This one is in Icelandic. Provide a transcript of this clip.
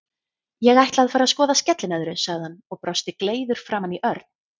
Ég ætla að fara að skoða skellinöðru, sagði hann og brosti gleiður framan í Örn.